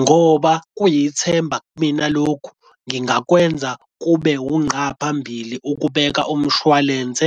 ngoba kuyithemba kumina lokhu ngingakwenza kube unqa phambili ukubeka umshwalense